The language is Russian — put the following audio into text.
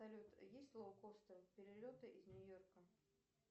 салют есть лоукостер перелеты из нью йорка